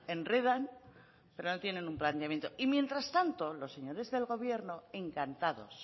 enredan pero no tienen un planteamiento y mientras tanto los señores del gobierno encantados